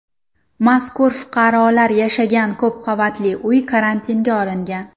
Mazkur fuqarolar yashagan ko‘p qavatli uy karantinga olingan.